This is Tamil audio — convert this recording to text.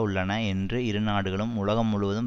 உள்ளன என்று இரு நாடுகளும் உலகம் முழுவதும்